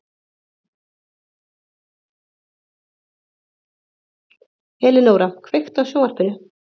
Elenóra, kveiktu á sjónvarpinu.